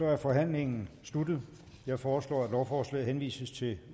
er forhandlingen sluttet jeg foreslår at lovforslaget henvises til